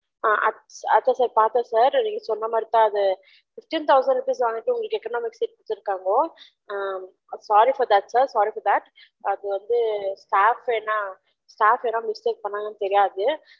ம்ம் அதான் sir பாத்தென் sir நீங்க சொன்ன மாரி தான் அது sixty thousand rupees வந்துடு உங்களுக்கு economy எடுதுருக்காங்க உம் i am sorry for that sir உம் sorry for that sir அது வந்து staffs யாருனா mistake பன்னிருகங்கலானு தெரியுது